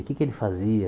O que é que ele fazia?